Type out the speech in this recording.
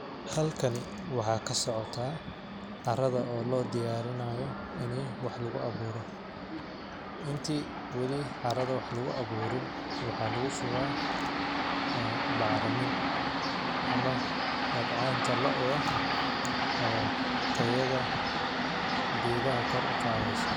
Halakani waxaa ka socotaa carrada oo loo diyarinaayo ini wax lagu awuuro ,inti wali carrada wax lagu awuurin waxaa lagu shubaa bacrimin ama dhabcaanta looda oo tayada geedaha kor u qaadeyso.